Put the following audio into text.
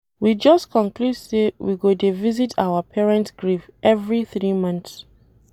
We just conclude say we go dey visit our parent grave every three months